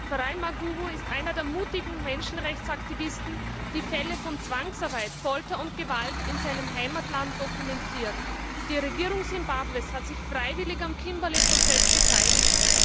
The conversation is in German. Farai Maguwu ist einer der mutigen Menschenrechtsaktivisten, die Fälle von Zwangsarbeit, Folter und Gewalt in seinem Heimatland dokumentieren. Die Regierung Simbabwes hat sich freiwillig am Kimberley Prozess beteiligt